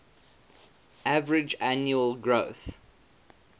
average annual growth